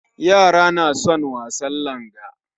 Yara na son wasan langa